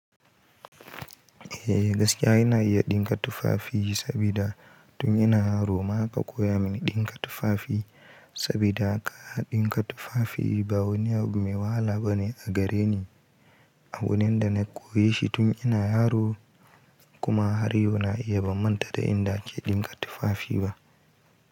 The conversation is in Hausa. Eh gaskiya ina iya ɗinka tufafi sabida tun ina yaro ma aka koya mini ɗinka tufafi sabida kaya ɗinka tufafi ba wani me wahala bane a gareni. Abu nanda na koyi shi tun ina yaro kuma har yau na iya ban manta da inda ake ɗinka tufafi ba.